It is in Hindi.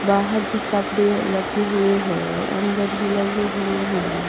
बाहर भी कपड़े लगे हुए हैं अंदर भी लगे हुए हैं।